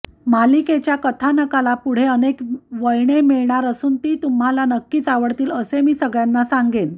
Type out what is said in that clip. मालिकेच्या कथानकाला पुढे अनेक वळणे मिळणार असून ती तुम्हाला नक्कीच आवडतील असेच मी सगळ्यांना सांगेन